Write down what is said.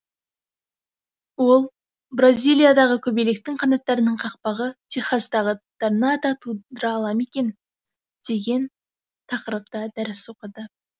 ол бразилиядағы көбелектің қанаттарының қақпағы техастағы торнада тудыра ала ма деген тақырыпта дәріс оқыды